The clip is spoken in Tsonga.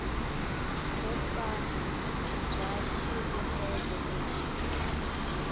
byo tsana bya xivumbeko lexi